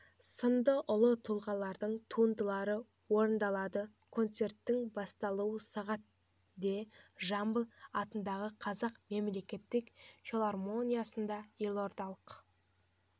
сынды ұлы тұлғалардың туындылары орындалады концерттің басталуы сағат де жамбыл атындағы қазақ мемлекеттік филармониясында елордалық